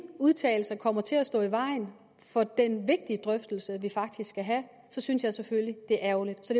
udtalelser kommer til at stå i vejen for den vigtige drøftelse vi faktisk skal have synes jeg selvfølgelig det er ærgerligt så